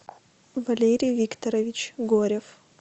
валерий викторович горев